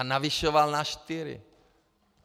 A navyšoval na čtyři.